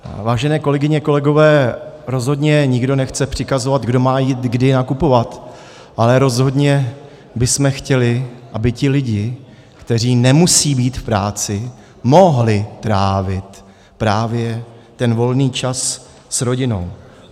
Vážené kolegyně, kolegové, rozhodně nikdo nechce přikazovat, kdo má jít kdy nakupovat, ale rozhodně bychom chtěli, aby ti lidé, kteří nemusí být v práci, mohli trávit právě ten volný čas s rodinou.